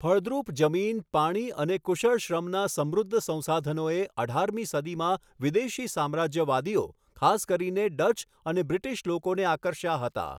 ફળદ્રુપ જમીન, પાણી અને કુશળ શ્રમના સમૃદ્ધ સંસાધનોએ અઢારમી સદીમાં વિદેશી સામ્રાજ્યવાદીઓ, ખાસ કરીને ડચ અને બ્રિટિશ લોકોને આકર્ષ્યા હતા.